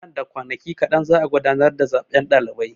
Nan da kwanaki kaɗan za'a gudanar da zaben ɗalibai.